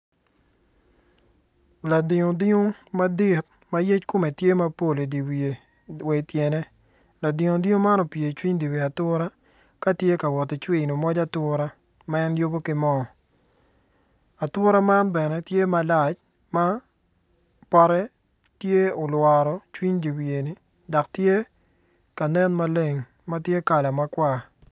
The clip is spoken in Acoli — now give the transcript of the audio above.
Ladiu diu mapol ma yec kome tye mapol idyer wiye wa i tyene ladiu diu man opyer icwiny di wi ature katye ka wot cwino moc atura ma en yubo ki mo atura man bene tye malac ma pote tye olwaro i cwiny dyer wiyeni dok tye kanen maleng matye kala makwar.